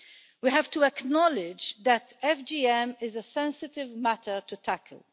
We have to acknowledge that FGM is a sensitive matter to tackle.